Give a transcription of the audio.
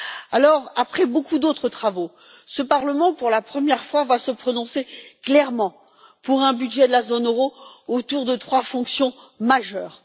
Alors, après beaucoup d'autres travaux, ce Parlement, pour la première fois, va se prononcer clairement pour un budget de la zone euro, autour de trois fonctions majeures.